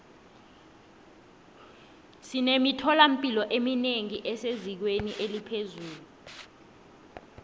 sinemithola mpilo eminengi esezingeni eliphezulu